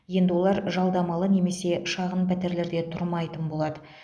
енді олар жалдамалы немесе шағын пәтерлерде тұрмайтын болады